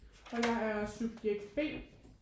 Og jeg er subjekt B